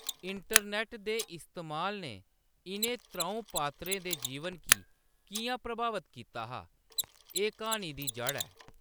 Internet दे इस्तेमाल ने इʼनें त्र`ऊं पात्रें दे जीवन गी किʼयां प्रभावत कीता हा, एह्‌‌ क्हानी दी जढ़ ऐ।